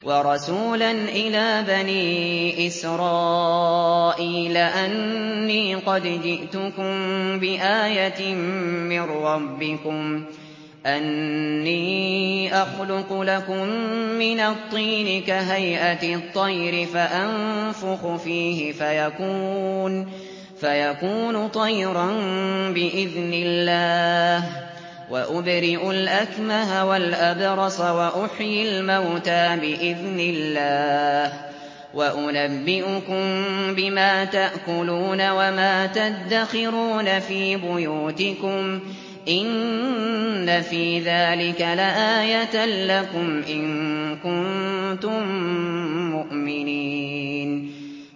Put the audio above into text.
وَرَسُولًا إِلَىٰ بَنِي إِسْرَائِيلَ أَنِّي قَدْ جِئْتُكُم بِآيَةٍ مِّن رَّبِّكُمْ ۖ أَنِّي أَخْلُقُ لَكُم مِّنَ الطِّينِ كَهَيْئَةِ الطَّيْرِ فَأَنفُخُ فِيهِ فَيَكُونُ طَيْرًا بِإِذْنِ اللَّهِ ۖ وَأُبْرِئُ الْأَكْمَهَ وَالْأَبْرَصَ وَأُحْيِي الْمَوْتَىٰ بِإِذْنِ اللَّهِ ۖ وَأُنَبِّئُكُم بِمَا تَأْكُلُونَ وَمَا تَدَّخِرُونَ فِي بُيُوتِكُمْ ۚ إِنَّ فِي ذَٰلِكَ لَآيَةً لَّكُمْ إِن كُنتُم مُّؤْمِنِينَ